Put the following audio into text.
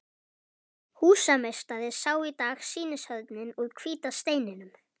Húsameistari sá í dag sýnishornin úr hvíta steininum.